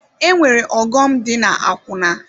E nwere ọghọm dị na-akwụna.